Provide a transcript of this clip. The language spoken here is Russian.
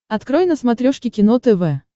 открой на смотрешке кино тв